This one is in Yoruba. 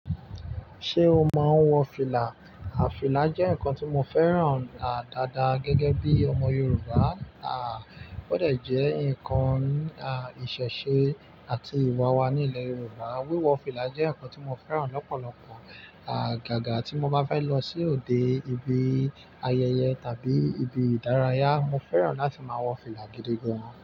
Ṣé o máa ń wọ fìlà? À, fìlà jẹ́ nǹkan tí mo fẹ́ràn à dáadáa gẹ́gẹ́ bí ọmọ Yorùbá. À, ó dẹ̀ jẹ́ nǹkan à ìṣẹ̀ṣe àti ìwà wa nílẹ̀ Yorùbá. Wíwọ fìlà jẹ́ nǹkan tí mo fẹ́ràn lọ́pọ̀lọpọ̀. Àgàgá tí mo bá fẹ́ lọ sí òde ibi ayẹyẹ tàbí ibi ìdárayá, mo fẹ́ràn láti máa wọ fìlà gidi gan.